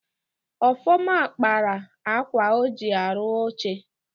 Ọfọma kpaara akwa o ji arụ oche.